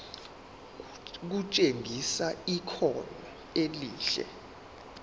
kutshengisa ikhono elihle